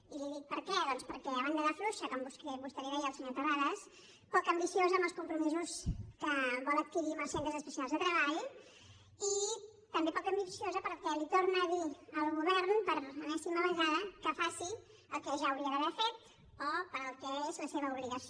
i li dic per què perquè a banda de fluixa com vostè li deia al senyor terrades poc ambiciosa amb els compromisos que vol adquirir amb els centres especials de treball i també poc ambiciosa perquè torna a dir al govern per enèsima vegada que faci el que ja hauria d’haver fet o per al que és la seva obligació